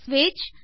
ஸ்விட்ச்